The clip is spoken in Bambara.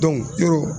yɔrɔ